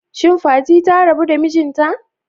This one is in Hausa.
Shin Fati ta rabu da mijinta?